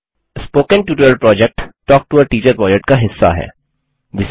spoken tutorial talk to a teacher project का हिस्सा है